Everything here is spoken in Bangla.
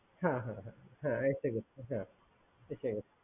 হ্যা হ্যা এসে গেছে